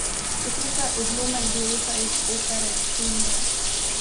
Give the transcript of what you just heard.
Poslušaj odlomek dueta iz opere Ksenija.